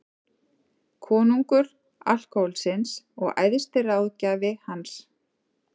Konungur alkóhólsins og æðsti ráðgjafi hans.